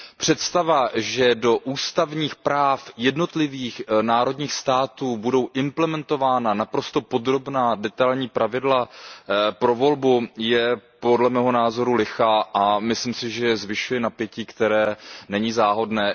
Představa, že do ústavních práv jednotlivých národních států budou implementována naprosto podrobná detailní pravidla pro volbu, je podle mého názoru lichá a myslím si, že zvyšuje napětí, které není záhodné.